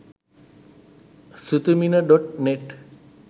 sithumina.net